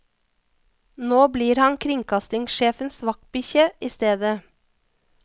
Nå blir han kringkastingssjefens vaktbikkje i stedet.